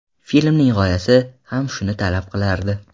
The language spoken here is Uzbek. Filmning g‘oyasi ham shuni talab qilardi.